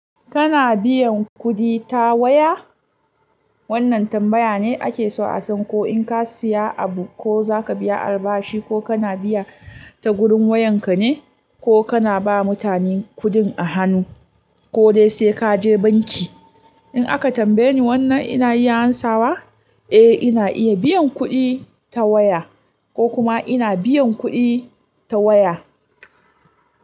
Kana biyan kuɗi ta waya? Wannan tambaya ne ake so a san ko in ka siya abu ko zaka biya albashi ko kana biya ta gurin wayan ka ne ko kana ba mutane kuɗin a hanu ko dai sai kaje banki. In aka tambaye ni wannan ina iya ansawa? Eh ina iya biyan kuɗi ta waya ko kuma ina biyan kuɗi ta waya.